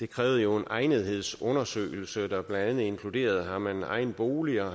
kræver en egnethedsundersøgelse der blandt andet inkluderer om man har egen bolig og